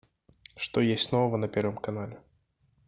что есть нового на первом канале